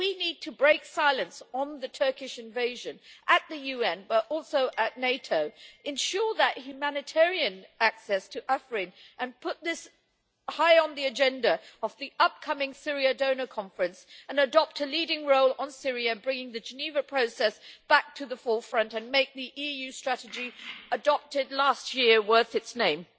We need to break silence on the Turkish invasion not only in the UN, but also in NATO ensure humanitarian access to Afrin and put this high on the agenda of the upcoming Syria Donor Conference, and adopt a leading role on Syria, bringing the Geneva process back to the forefront and making the EU strategy adopted last year worth its name.